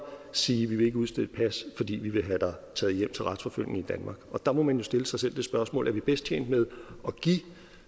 sige vi vil ikke udstede et pas fordi vi vil have dig taget hjem til retsforfølgning i danmark og der må man jo stille sig selv det spørgsmål er vi bedst tjent med at give